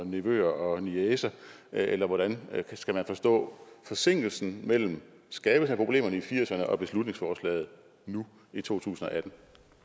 nevøer og niecer eller hvordan skal man forstå forsinkelsen mellem skabelsen af problemerne i nitten firserne og beslutningsforslaget nu i 2018